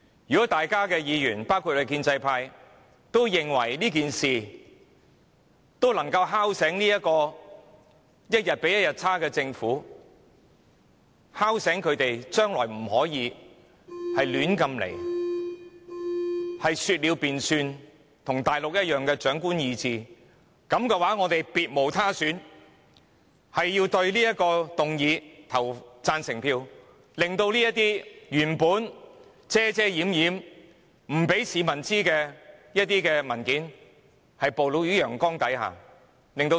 如果各位議員也認為這樣做能夠敲醒這個一天比一天差勁的政府，令它知道將來不可以再亂來、說了便算和跟大陸一樣奉行長官意志，那我們別無選擇，只好表決贊成這項議案，令那些原本不讓市民知悉的文件曝露於陽光下，令市民和立法會可以監察政府。